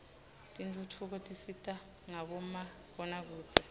tentfutfuko tisita ngabomabonakudze